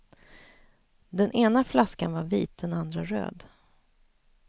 Den ena flaskan var vit, den andra röd.